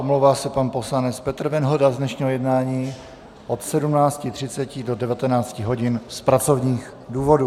Omlouvá se pan poslanec Petr Venhoda z dnešního jednání od 17.30 do 19 hodin z pracovních důvodů.